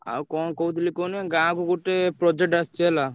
ଆଉ କଣ କହୁଥିଲି କଣ କି ଗାଁ କୁ ଗୋଟେ project ଆସିଛି ହେଲା।